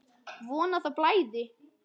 Von að það blæði!